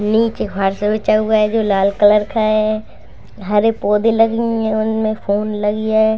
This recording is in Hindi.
नीचे बिछा हुआ है जो लाल कलर का है हरे पौधें लगी हुई है उनमें फुल लगी है।